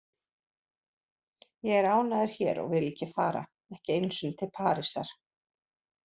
Ég er ánægður hér og vil ekki fara, ekki einu sinni til Parísar.